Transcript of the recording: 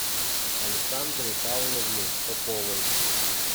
александры павловны поповой